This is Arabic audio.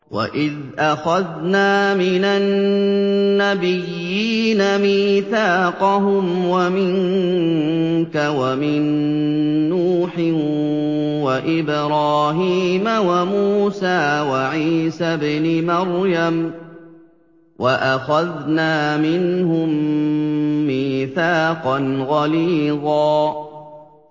وَإِذْ أَخَذْنَا مِنَ النَّبِيِّينَ مِيثَاقَهُمْ وَمِنكَ وَمِن نُّوحٍ وَإِبْرَاهِيمَ وَمُوسَىٰ وَعِيسَى ابْنِ مَرْيَمَ ۖ وَأَخَذْنَا مِنْهُم مِّيثَاقًا غَلِيظًا